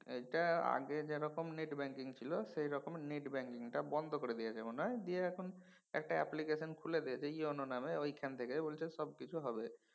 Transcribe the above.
এইটা আগে যেরকম net banking ছিল সেইরকম net banking টা বন্ধ করে দিয়েছে মনে হয়। দিয়ে এখন একটা application খুলে দিয়েছে EON নামে ওইখান থেকে বলছে সবকিছু হবে।